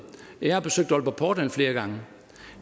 jeg har besøgt aalborg portland flere gange